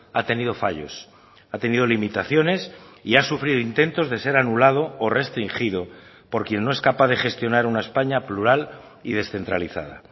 ha tenido fallos ha tenido limitaciones y ha sufrido intentos de ser anulado o restringido por quien no es capaz de gestionar una españa plural y descentralizada